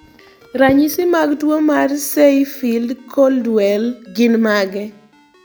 Ranyisi mag tuwo mar Say Field Coldwell gin mage?